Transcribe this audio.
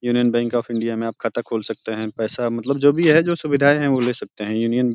Union bank of India में आप खाता खोल सकते हैं पैसा मतलब जो भी है जो सुविधाए है वो ले सकते हैं। यूनियन --